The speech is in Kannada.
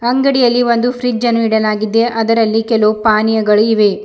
ಅಂಗಡಿಯಲ್ಲಿ ಒಂದು ಫ್ರಿಡ್ಜನ್ನು ಇಡಲಾಗಿದೆ ಅದರಲ್ಲಿ ಕೆಲವು ಪಾನಿಯಗಳು ಇವೆ.